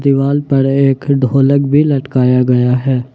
दीवार पर एक ढोलक भी लटकाया गया है।